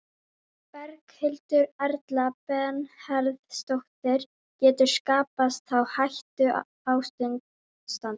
Berghildur Erla Bernharðsdóttir: Getur skapast þá hættuástand?